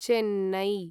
Chennai